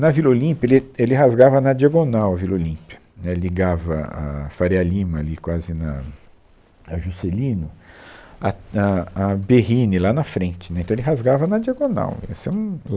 Na Vila Olímpia, ele, ele rasgava na diagonal a Vila Olímpia, né, ligava a Faria Lima, ali quase na, a Juscelino, até, a, a Berrini, lá na frente, né, então ele rasgava na diagonal. Esse era um